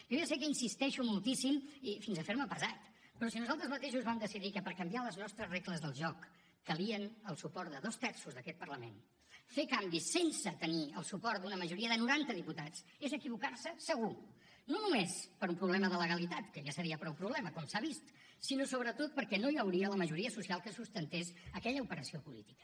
jo ja sé que insisteixo moltíssim i fins a fer me pesat però si nosaltres mateixos vam decidir que per canviar les nostres regles del joc calia el suport de dos terços d’aquest parlament fer canvis sense tenir el suport d’una majoria de noranta diputats és equivocar se segur no només per un problema de legalitat que ja seria prou problema com s’ha vist sinó sobretot perquè no hi hauria la majoria social que sustentés aquella operació política